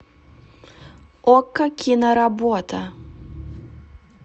окко киноработа